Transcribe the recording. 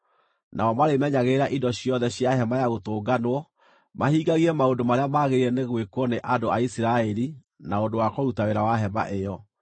Nao marĩmenyagĩrĩra indo ciothe cia Hema-ya-Gũtũnganwo, mahingagie maũndũ marĩa magĩrĩire nĩ gwĩkwo nĩ andũ a Isiraeli na ũndũ wa kũruta wĩra wa hema ĩyo.